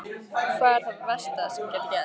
Hvað er það versta sem gæti gerst?